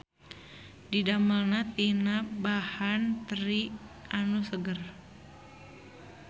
Didamelna tina bahan teri anu seger.